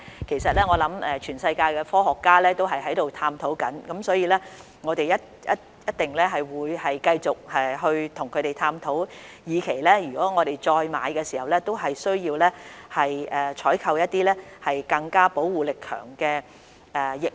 其實，我相信全球科學家亦正在探討，我們一定會繼續跟他們探討，以期為香港市民再購買疫苗時會採購一些保護力更強的疫苗。